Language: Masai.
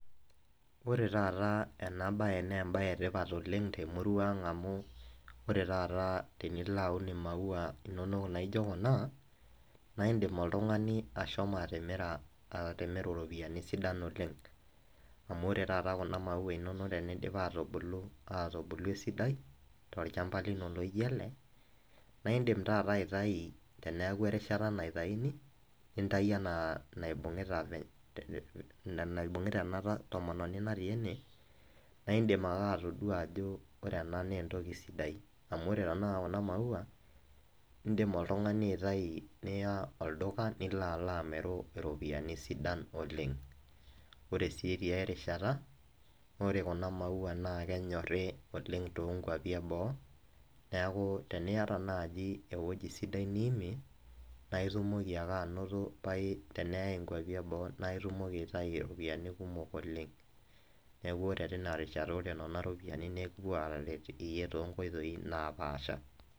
Ore taata ena bae naa embae etipat oleng temurua ang amu ore taat tenilo aun imaua inonok naijo kuna naa indim oltungani ashomo atimira, iropiyiani sidan oleng amu ore taata kuna maua inonok tenidip atubulu, atubulu esidai tolchamba lino laijo ele , naa indim taata aitayu teniaku erishata naitayuni, nintayu enaa naibu, ina naibungita tomononi natii ene naa indim ake atodua ajo ore ena naa entoki sidai , amu ore tenakata kuna maua, indim oltungani aitayu niya olduka , nila alo amir , amiru iropiyiani sidan oleng . Ore si tiay rishata naa ore kuna maua naa kenyori oleng toonkwapi eboo , niaku teniata naji ewueji sidai niimie naa itumoki ake anoto pai , teneyay inkwapi eboo naa itumoki aitayu iropiyiani kumok oleng, niaku ore tina rishata ore nena ropiyiani naa ekipuo aret iyie toonkoitoi naapasha.